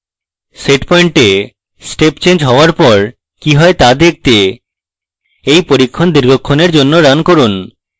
setpoint a step change হওয়ার পর কি হয় দেখতে এই পরীক্ষণ দীর্ঘক্ষণের জন্য run run